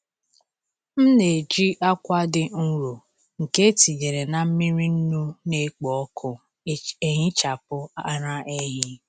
M na-eji akwa dị nro nke etinyere na mmiri nnu na-ekpo ọkụ ehichapụ ara ehi.